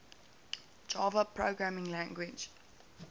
java programming language